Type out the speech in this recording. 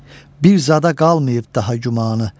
Bir zada qalmayıb daha gümanı.